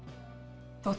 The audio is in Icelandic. þótt